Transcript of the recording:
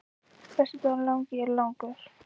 Föstudagurinn langi er langur.